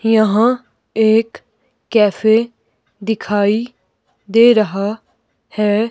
यहां एक कैफे दिखाई दे रहा है।